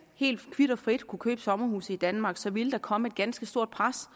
helt kvit og frit kunne købe sommerhuse i danmark så ville komme et ganske stort pres